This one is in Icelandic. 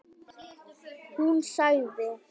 Hún sagði: